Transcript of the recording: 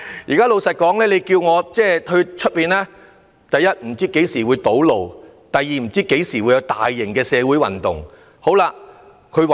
如果他要外出，會有顧慮：第一，不知何時會堵路；第二，不知何時會遇上大型社會運動。